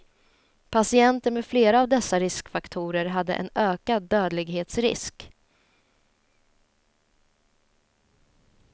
Patienter med flera av dessa riskfaktorer hade en ökad dödlighetsrisk.